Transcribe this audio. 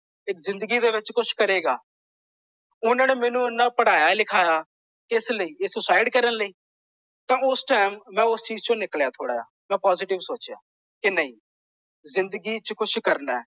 ਕਿ ਜਿੰਦਗੀ ਦੇ ਵਿਚ ਕੁਝ ਕਰੇਗਾ। ਓਹਨਾ ਨੇ ਮੈਨੂੰ ਇੰਨਾ ਪੜਾਇਆ ਲਿਖਾਇਆ ਕਿਸ ਲਈ। ਇਹ ਸੁਇਸਾਈਡ ਕਰਨ ਲਈ। ਤਾਂ ਉਸ ਟਾਈਮ ਮੈਂ ਉਸ ਚੀਜ਼ ਚੋਂ ਨਿਕਲਿਆ ਥੋੜਾ ਜਿਹਾ। ਮੈਂ ਪੋਸਿਟਿਵ ਸੋਚਿਆ। ਕਿ ਨਹੀਂ। ਜਿੰਦਗੀ ਚ ਕੁਝ ਕਰਨਾ ਹੈ।